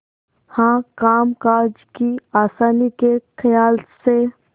हाँ कामकाज की आसानी के खयाल से